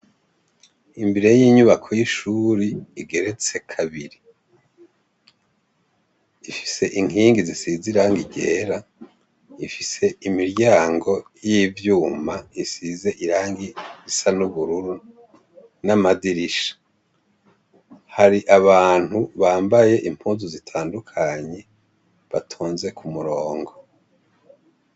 Imbere y'inyubako y'ishuri igeretse kabiri. ifise inkingi zisize irangi ryera, ifise imiryango y'ivyuma isize irangi risa n'ubururu, n'amadirisha, bari abantu bambaye impuzu zitandukanye, batonze k'umurongo.